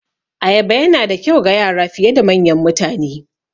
Ayaba Yana da kyau ga Yara fiye da manyan mutane